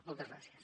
moltes gràcies